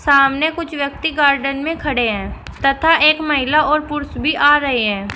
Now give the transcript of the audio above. सामने कुछ व्यक्ति गार्डन में खड़े हैं तथा एक महिला और पुरुष भी आ रहे हैं।